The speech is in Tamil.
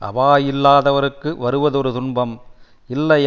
அவா இல்லாதவர்களுக்கு வருவதொரு துன்பம் இல்லை